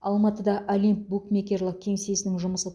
алматыда олимп букмекерлік кеңсесінің жұмысы